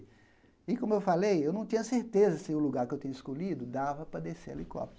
E, como eu falei, eu não tinha certeza se o lugar que eu tinha escolhido dava para descer helicóptero.